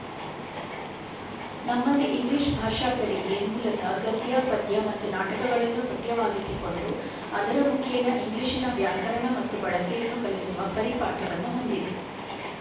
ನಮ್ಮಲ್ಲಿ ಇಂಗ್ಲೀಷ್ ಭಾಷಾ ಕಲಿಕೆ ಮೂಲತಃ ಗದ್ಯ ಪದ್ಯ ಮತ್ತು ನಾಟಕಗಳನ್ನು ಪಠ್ಯವಾಗಿಸಿಕೊಂಡು ಅದರ ಮುಖೇನ ಇಂಗ್ಲೀಷಿನ ವ್ಯಾಕರಣ ಮತ್ತು ಬಳಕೆಯನ್ನು ಕಲಿಸುವ ಪರಿಪಾಟವನ್ನು ಹೊಂದಿ ದಿದೆ